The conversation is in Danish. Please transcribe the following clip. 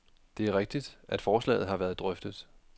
Det er rigtigt, at forslaget har været drøftet.